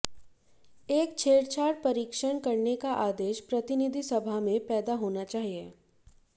एक छेड़छाड़ परीक्षण करने का आदेश प्रतिनिधि सभा में पैदा होना चाहिए